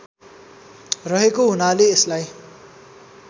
रहेको हुनाले यसलाई